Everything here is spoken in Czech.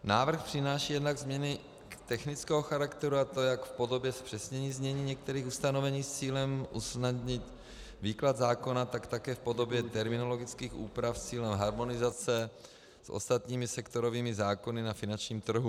Návrh přináší jednak změny technického charakteru, a to jak v podobě zpřesnění znění některých ustanovení s cílem usnadnit výklad zákona, tak také v podobě terminologických úprav s cílem harmonizace s ostatními sektorovými zákony na finančním trhu.